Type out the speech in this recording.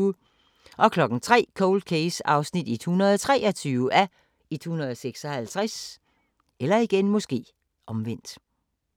03:00: Cold Case (123:156)